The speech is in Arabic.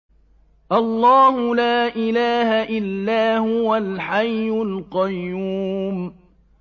اللَّهُ لَا إِلَٰهَ إِلَّا هُوَ الْحَيُّ الْقَيُّومُ